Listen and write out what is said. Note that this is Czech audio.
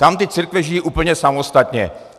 Tam ty církve žijí úplně samostatně.